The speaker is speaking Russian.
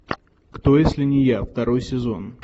кто если не я второй сезон